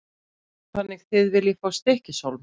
Þannig að þið viljið fá Stykkishólm?